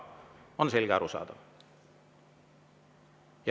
On selge ja arusaadav?